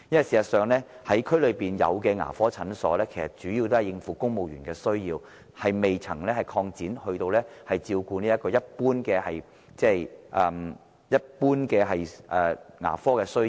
事實上，各區現有的牙科診所主要應付公務員需要，仍未擴展至照顧一般的牙科需要。